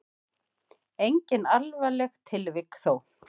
Engin alvarleg tilvik þó.